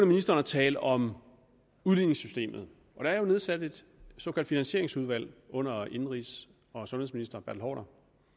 ministeren at tale om udligningssystemet der er jo nedsat et såkaldt finansieringsudvalg under indenrigs og sundhedsministeren og